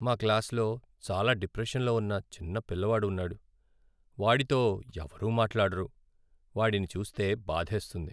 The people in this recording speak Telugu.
మా క్లాస్లో చాలా డిప్రెషన్లో ఉన్న చిన్న పిల్లవాడు ఉన్నాడు, వాడితో ఎవరూ మాట్లాడరు. వాడిని చూస్తే బాధేస్తుంది.